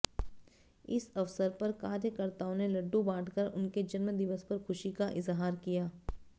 इस अवसर पर कार्यकर्ताओं ने लड्डु बांटकर उनके जन्म दिवस पर खुशी का इजहार किया